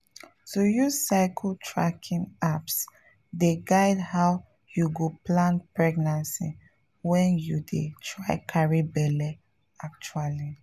to use cycle tracking apps dey guide how you go plan pregnancy when you dey try carry belle actually.